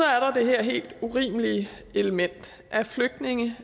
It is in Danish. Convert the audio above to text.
her helt urimelige element at flygtninge